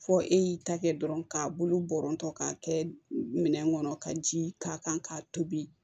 Fɔ e y'i ta kɛ dɔrɔn k'a bolo bɔntɔ k'a kɛ minɛn kɔnɔ ka ji k'a kan k'a tobi